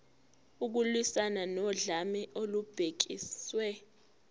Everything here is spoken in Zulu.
ukulwiswana nodlame olubhekiswe